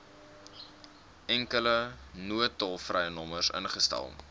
enkele noodtolvrynommer ingestel